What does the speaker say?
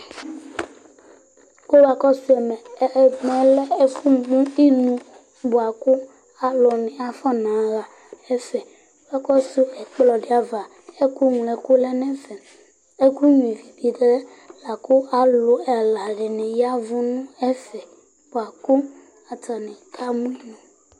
kò wa kɔsu ɛmɛ ɛmɛ lɛ ɛfu mo inu boa kò alo ni afɔna ɣa ɛfɛ k'akɔsu ɛkplɔ di ava ɛkò ŋlo ɛkò lɛ n'ɛfɛ ɛkò nyua ivi bi lɛ la kò alo ɛla di ni ya vu n'ɛfɛ boa kò atani ka mu inu